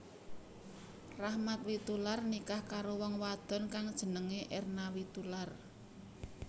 Rachmat Witoelar nikah karo wong wadon kang jenengé Erna Witoelar